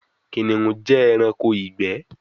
Kiniun jẹ ẹranko igbẹ